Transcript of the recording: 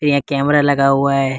एक कैमरा लगा हुआ है।